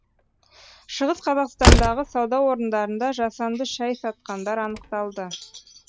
шығыс қазақстандағы сауда орындарында жасанды шай сатқандар анықталды